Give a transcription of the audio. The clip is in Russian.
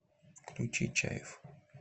включи чайф